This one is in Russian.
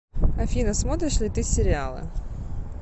афина смотришь ли ты сериалы